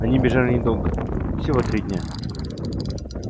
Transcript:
они бежали недолго всего дня три